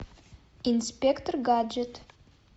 инспектор гаджет